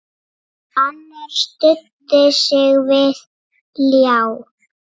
Annar studdi sig við ljá.